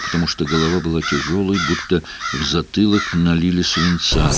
потому что голова была тяжёлой будто в затылок налили свинца